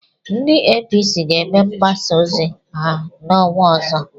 Ndị APC ga-eme mgbasa ozi ha n'ọnwa ọzọ.